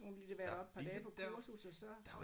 Hun har lige været deroppe et par dage på kursus og så